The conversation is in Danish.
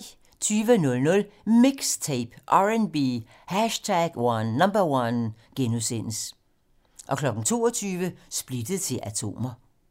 20:00: MIXTAPE - R&B #1 * 22:00: Splittet til atomer